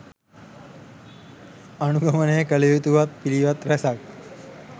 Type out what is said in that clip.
අනුගමනය කළයුතු වත් පිළිවෙත් රැසක්